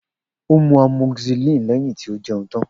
O mu amoxicillin lẹhin ti o jẹun tan.